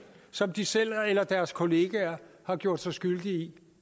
som de selv eller deres kollegaer har gjort sig skyldig i